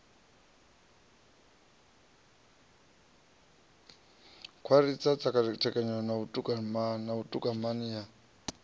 khwathisa tserekano na vhutumani ya